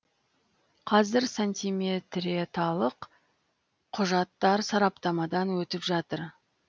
қазір сантиметреталық құжаттар сараптамадан өтіп жатыр